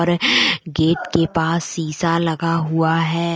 और गेट के पास सीसा लगा हुआ है।